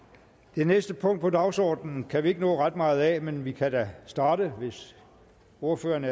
det næste punkt på dagsordenen kan vi ikke nå ret meget af inden pausen men vi kan da starte hvis ordførerne